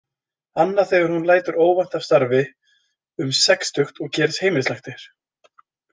Annað þegar hún lætur óvænt af starfi um sextugt og gerist heimilislæknir.